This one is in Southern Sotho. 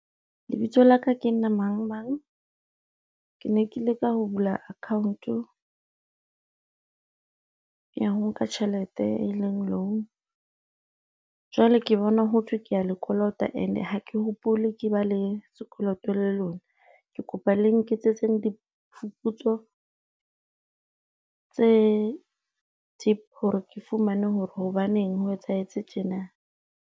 Lebitso laka ke nna Mangmang. Ke ne ke leka ho bula account-o, ya ho nka tjhelete e leng loan, jwale ke bona ho thwe kea le kolota. And ha ke hopole ke ba le sekoloto le lona. Ke kopa le nketsetseng diphuputso tse deep hore ke fumane hore hobaneng ho etsahetse tjena.